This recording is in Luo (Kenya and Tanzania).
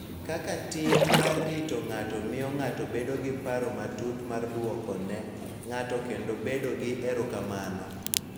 Kaka tim mar rito ng�ato miyo ng�ato bedo gi paro matut mar dwoko ne ng�ato kendo bedo gi erokamano.